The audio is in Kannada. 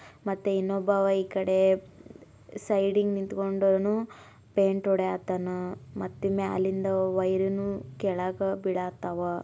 ಮತ್ತೆ ಇನ್ನೊಬ್ಬ ಈ ಕಡೆ ಸೈಡಿಂಗ ನಿಂತ್ಕೊಂಡಾನು ಪೈಂಟ್ ಹೊಡೆಯತನ ಮತ್ತೆ ಮೇಲಿಂದ ವೈರ್ ನ ಕೆಳಗೆ ಬಿಡ ಅಥವಾ --